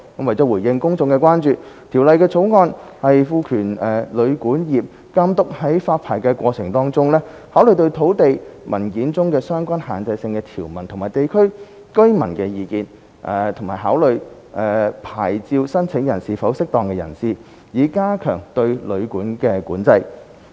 為了回應公眾關注，《條例草案》賦權監督在發牌過程中，考慮土地文件中的相關限制性條文及地區居民的意見，以及考慮牌照申請人是否"適當"人士，以加強對旅館的管制。